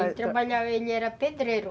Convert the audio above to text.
Ele trabalhava, ele era pedreiro.